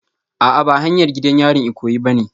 A'a ba hanyar gidan yarin Ikoyi bane